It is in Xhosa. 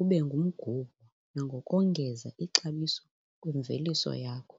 ube ngumgubo nangokongeza ixabiso kwimveliso yakho.